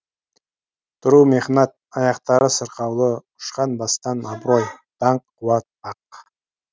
тұру мехнат аяқтары сырқаулы ұшқан бастан абырой даңқ қуат бақ